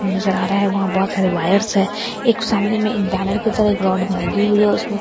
नजर आ रहा है वहां बहुत सारे वायर्स हैं एक सामने में एक बैनर की तरह एक रोड में लगी हुई है उसमे।